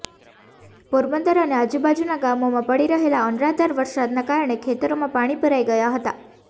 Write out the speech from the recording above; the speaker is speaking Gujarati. પોરબંદર અને આજુબાજુનાં ગામોમાં પડી રહેલા અનરાધાર વરસાદનાં કારણે ખેતરોમાં પાણી ભરાઈ ગયા હતા